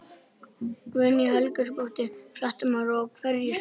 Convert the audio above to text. Guðný Helga Herbertsdóttir, fréttamaður: Og hverju svararðu?